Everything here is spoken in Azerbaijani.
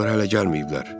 Onlar hələ gəlməyiblər.